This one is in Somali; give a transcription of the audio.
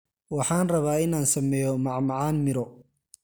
Waxaan rabaa in aan sameeyo macmacaan miro.